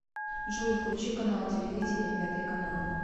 джой включи канал телевидения пятый канал